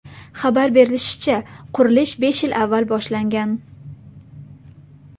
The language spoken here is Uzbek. Xabar berilishicha, qurilish besh yil avval boshlangan.